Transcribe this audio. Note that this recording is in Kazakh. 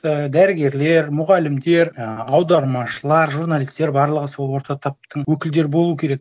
і дәрігерлер мұғалімдер жаңағы аудармашылар журналистер барлығы сол орта таптың өкілдері болу керек